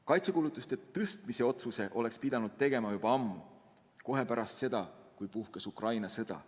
Kaitsekulutuste tõstmise otsuse oleks pidanud tegema juba ammu, kohe pärast seda, kui puhkes Ukraina sõda.